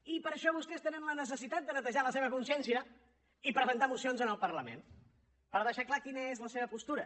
i per això vostès tenen la necessitat de netejar la seva consciència i presentar mocions en el parlament per deixar clara quina és la seva postura